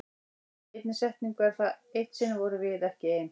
Í einni setningu er það: Eitt sinn vorum við ekki ein.